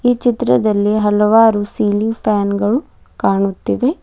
ಚಿತ್ರದಲ್ಲಿ ಹಲವಾರು ceiling fan ಗಳು ಕಾಣುತ್ತಿದೆ.